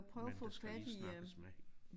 Men der skal lige snakkes med hende